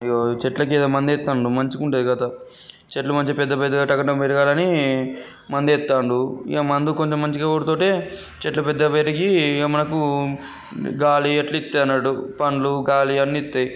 చెట్లకు ఏదో మందేస్తుండు మంచిగా ఉంటాయి కదా చెట్లు మంచిగా పెద్ద పెద్దగా టక_టక పెరగాలని మందేత్తాండు ఇగ మందు కొంచెం మంచిగా కొడుతూటే చెట్లు పెద్దగా పెరిగి మనకు గాలి అట్లయితే అన్నట్టు పండ్లు గాలి అన్ని ఇస్తాయి.